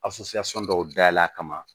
dɔw dayɛlɛ a kama